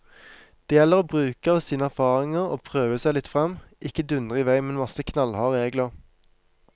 Det gjelder å bruke av sine erfaringer og prøve seg litt frem, ikke dundre i vei med en masse knallharde regler.